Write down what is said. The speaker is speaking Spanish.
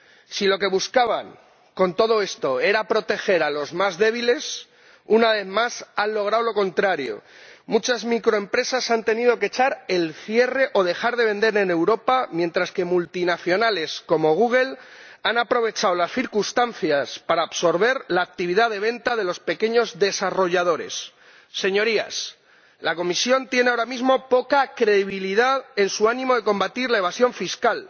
Si lo que buscaban con todo esto era proteger a los más débiles, una vez más han logrado lo contrario muchas microempresas han tenido que echar el cierre o dejar de vender en Europa mientras que multinacionales como Google han aprovechado las circunstancias para absorber la actividad de venta de los pequeños desarrolladores. La Comisión tiene ahora mismo poca credibilidad en su ánimo de combatir la evasión fiscal,